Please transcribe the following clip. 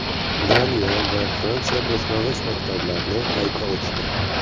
Daniya va Fransiya boshlang‘ich maktablarni qayta ochdi.